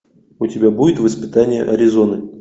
у тебя будет воспитание аризоны